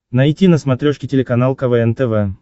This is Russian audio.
найти на смотрешке телеканал квн тв